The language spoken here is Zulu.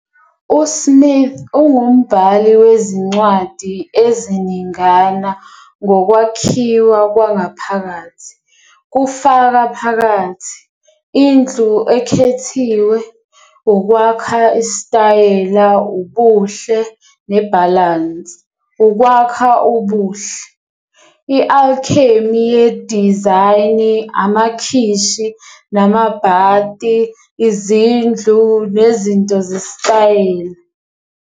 USmith ungumbhali wezincwadi eziningana ngokwakhiwa kwangaphakathi, kufaka phakathi- Indlu Ekhethiwe- Ukwakha Isitayela, Ubuhle, neBalance, Ukwakha Ubuhle- I-Alchemy Yedizayini, Amakhishi Namabhati, Izindlu, Nezinto Zesitayela.